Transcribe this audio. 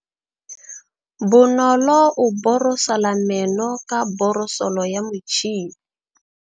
Bonolô o borosola meno ka borosolo ya motšhine.